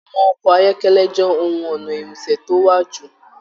Àwọn ọkọ ayọkẹlẹ jẹ ohùn ọnà irinṣẹ́ to wo jù.